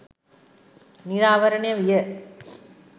නිරාවරණය විය